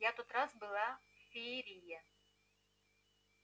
я тот раз была феерия